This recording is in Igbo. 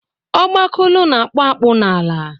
Ọgbakulu na akpu akpụ n'ala